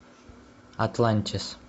атлантис